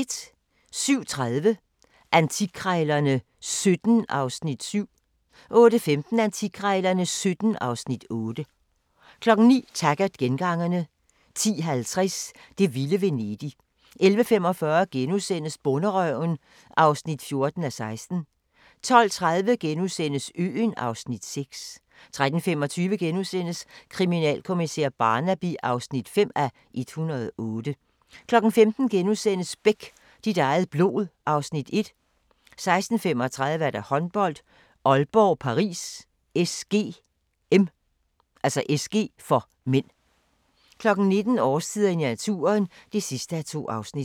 07:30: Antikkrejlerne XVII (Afs. 7) 08:15: Antikkrejlerne XVII (Afs. 8) 09:00: Taggart: Gengangerne 10:50: Det vilde Venedig 11:45: Bonderøven (14:16)* 12:30: Øen (Afs. 6)* 13:25: Kriminalkommisær Barnaby (5:108)* 15:00: Beck - dit eget blod (Afs. 1)* 16:35: Håndbold: Aalborg-Paris SG (m) 19:00: Årstiderne i naturen (2:2)